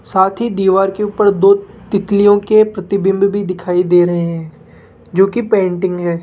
साथ ही दीवार के ऊपर दो तितलियों के प्रतिबिंब भी दिखाई दे रहे हैं जो की पेंटिंग है।